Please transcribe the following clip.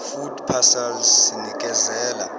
food parcels sinekeza